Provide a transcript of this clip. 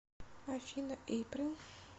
афина эйприл